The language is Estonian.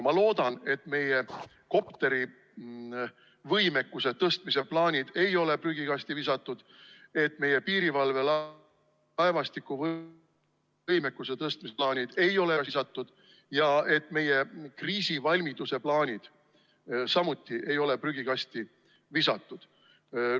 Ma loodan, et meie kopterivõimekuse tõstmise plaanid ei ole prügikasti visatud, et meie piirivalvelaevastiku võimekuse tõstmise plaanid ei ole ära visatud ja et meie kriisivalmiduse plaanid ei ole samuti prügikasti visatud.